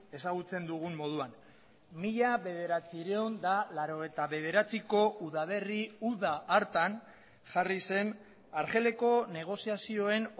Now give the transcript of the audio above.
ezagutzen dugun moduan mila bederatziehun eta laurogeita bederatziko udaberri uda hartan jarri zen argeleko negoziazioen